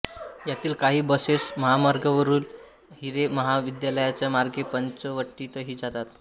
यातील काही बसेस महामार्गावरून हिरे महाविद्यालया मार्गे पंचवटीतही जातात